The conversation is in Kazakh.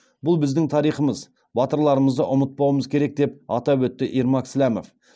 бұл біздің тарихымыз батырларымызды ұмытпауымыз керек деп атап өтті ермак сләмов